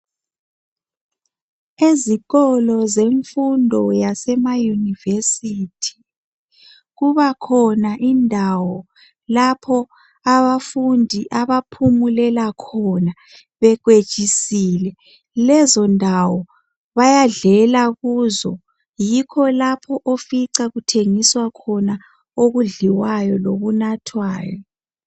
Izikolo zemfundo yasema university kuba khona indawo lapho abafundi abaphumulela bekwejisile lezondawo bayadlela kuzo yikho lapho ofica kuthengiswa khona okudliwayo lokunathwayo.